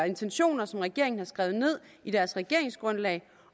intentioner som regeringen har skrevet ned i deres regeringsgrundlag